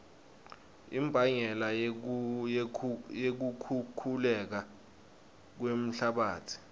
imbangela yekukhukhuleka kwemhlabatsi